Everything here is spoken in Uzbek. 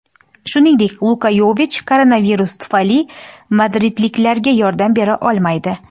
Shuningdek, Luka Yovich koronavirus tufayli madridliklarga yordam bera olmaydi.